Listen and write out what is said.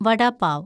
വട pav